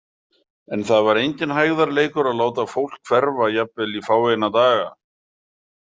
En það var enginn hægðarleikur að láta fólk hverfa jafnvel í fáeina daga.